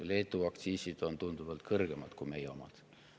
Leedu aktsiisid on tunduvalt kõrgemad kui meie omad.